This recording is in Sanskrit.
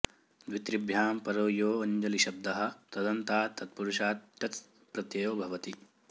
द्वित्रिभ्यां परो यो ऽञ्जलिशब्दः तदन्तात् तत्पुरुषात् टच् प्रत्ययो भवति